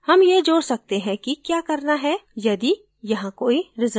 हम यह जोड सकते हैं कि we करना है यदि यहाँ कोई रिजल्ट्स नहीं है